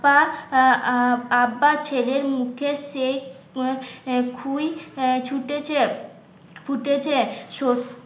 আহ আব্বা আব্বা ছেলের মুখে সেই কুই ছুটেছে ফুটেছে. সত্তর